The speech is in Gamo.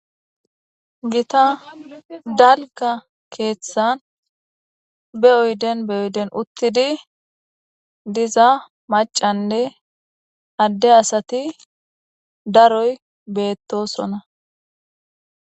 gita dalga keeththan be oyden be oyden uttidi diza macanne adde asati daroy beettosona